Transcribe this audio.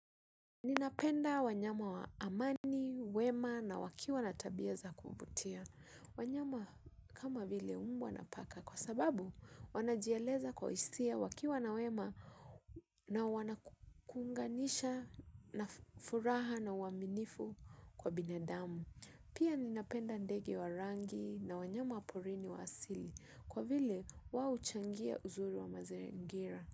Ninapenda wanyama wa amani, wema na wakiwa na tabia za kuvutia. Wanyama kama vile mbwa na paka kwa sababu wanajieleza kwa hisia wakiwa na wema na wanakuunganisha na furaha na uaminifu kwa binadamu. Pia ninapenda ndege wa rangi na wanyama wa porini wa asili kwa vile wao huchangia uzuri wa mazingira.